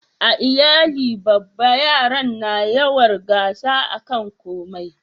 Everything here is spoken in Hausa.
a iyali babba yaran na yawar gasa a kan komai